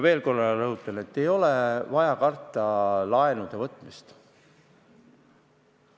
Veel korra rõhutan, et ei ole vaja karta laenude võtmist.